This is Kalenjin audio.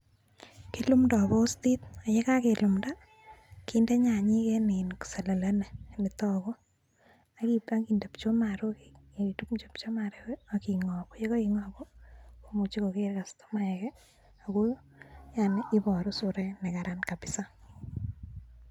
kilundoi postit yekakelumda kinde nyanyek eng [iin] selele in netaku yekaitar inde pchumaruk akrutyi pchumaruk aki ngangu yekaingangu komuchi kokeer kastomaek ako yaani ibaru surait nekararan kabisa.